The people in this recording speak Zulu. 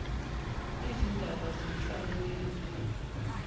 izindaba zenhlalo yendawo